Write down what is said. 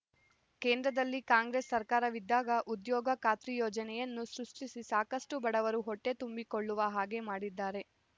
ಕೇಂದ್ರದಲ್ಲಿ ಕಾಂಗ್ರೇಸ್ ಸರ್ಕಾರವಿದ್ದಾಗ ಉದ್ಯೋಗ ಖಾತ್ರಿ ಯೋಜನೆಯನ್ನು ಸೃಷ್ಟಿಸಿ ಸಾಕಷ್ಟು ಬಡವರು ಹೊಟ್ಟೆ ತುಂಬಿಕೊಳ್ಳುವ ಹಾಗೇ ಮಾಡಿದ್ದಾರೆ